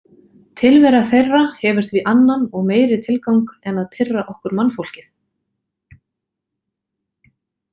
Tilvera þeirra hefur því annan og meiri tilgang en að pirra okkur mannfólkið.